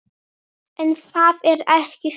En það er ekki svo.